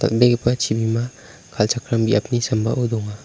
dalbegipa chibima kal·chakram biapni sambao donga.